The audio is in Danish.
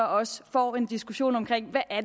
også får en diskussion om hvad